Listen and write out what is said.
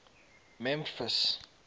memphis